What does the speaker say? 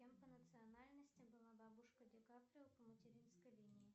кем по национальности была бабушка ди каприо по материнской линии